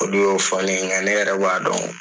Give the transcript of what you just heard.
Olu fɔ ne ye nka ne yɛrɛ b'a dɔn.